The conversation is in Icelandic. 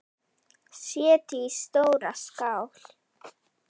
Setjið í stóra skál.